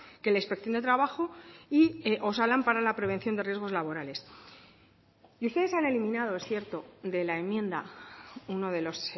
que la inspección de trabajo y osalan para la prevención de riesgos laborales y ustedes han eliminado es cierto de la enmienda uno de los